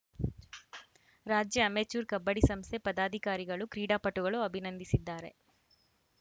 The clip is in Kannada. ರಾಜ್ಯ ಅಮೆಚೂರ್‌ ಕಬಡ್ಡಿ ಸಂಸ್ಥೆ ಪದಾಧಿಕಾರಿಗಳು ಕ್ರೀಡಾಪಟುಗಳು ಅಭಿನಂದಿಸಿದ್ದಾರೆ